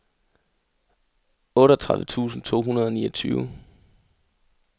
otteogtredive tusind to hundrede og niogtyve